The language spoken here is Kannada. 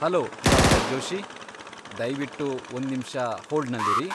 ಹಲೋ, ಡಾ. ಜೋಷಿ. ದಯ್ವಿಟ್ಟು ಒಂದ್ನಿಮಿಷ ಹೋಲ್ಡ್ನಲ್ಲಿರಿ.